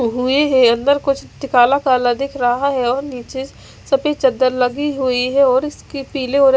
हुई है अंदर कुछ काला काला दिख रहा है और नीचे सफ़ेद चादर लगी हुई है और इस की पीले--